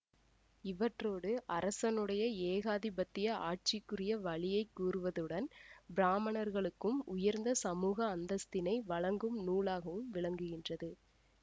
இவற்றோடு அரசனுடைய ஏகாதிபத்திய ஆட்சிக்குரிய வழியை கூறுவதுடன் பிராமணர்களுக்கும் உயர்ந்த சமூக அந்தஸ்தினை வழங்கும் நூலாகவும் விளங்குகின்றது